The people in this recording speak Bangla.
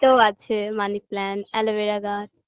তো আছে money plant aloevera গাছ